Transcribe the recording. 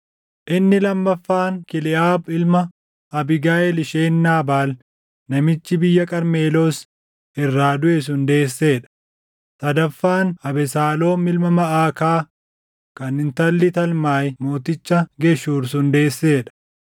inni lammaffaan Kiliʼaab ilma Abiigayiil isheen Naabaal namichi biyya Qarmeloos irraa duʼe sun deessee dha; sadaffaan Abesaaloom ilma Maʼakaa kan intalli Talmaayi mooticha Geshuur sun deessee dha;